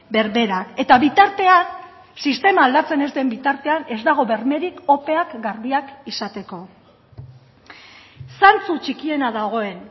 berberak eta bitartean sistema aldatzen ez den bitartean ez dago bermerik opeak garbiak izateko zantzu txikiena dagoen